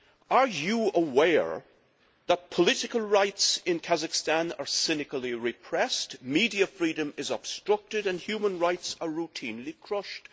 Are you aware that political rights in Kazakhstan are cynically repressed, media freedom is obstructed and human rights are routinely crushed?